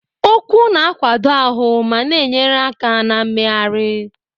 Ụkwụ na-akwado ahụ ma na-enyere aka na mmegharị.